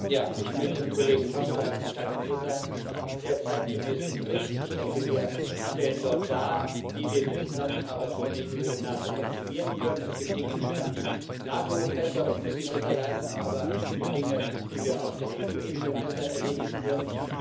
Frau Präsidentin! Ich möchte dem Kollegen Paşcu für seinen sehr zeitgemäßen Bericht herzlich danken. Ich denke, wir stellen dort dar, wie wir die Zusammenarbeit von EU und NATO optimieren können. Es gibt Dinge, die kann die NATO besser und muss sie besser leisten, aber es gibt Dinge, die wir auf der EU Ebene besser erledigen können.